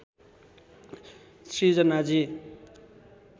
सृजनाजी